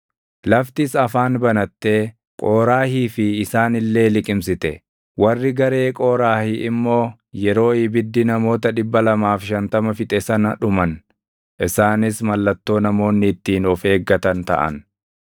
Laftis afaan banattee Qooraahii fi isaan illee liqimsite; warri garee Qooraahi immoo yeroo ibiddii namoota 250 fixe sana dhuman. Isaanis mallattoo namoonni ittiin of eeggatan taʼan.